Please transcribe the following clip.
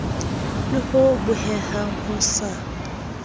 le ho bohehang ho sa